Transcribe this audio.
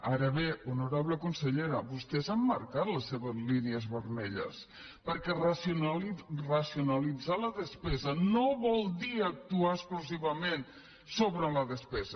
ara bé honorable consellera vostès han marcat les seves línies vermelles perquè racionalitzar la despesa no vol dir actuar exclusivament sobre la despesa